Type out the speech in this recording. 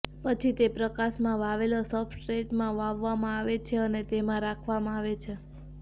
પછી તે પ્રકાશમાં વાવેલો સબસ્ટ્રેટમાં વાવવામાં આવે છે અને તેમાં રાખવામાં આવે છે